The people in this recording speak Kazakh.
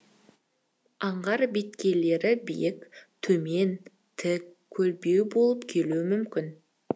аңғар беткейлері биік төмен тік көлбеу болып келуі мүмкін